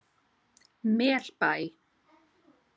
Melbæ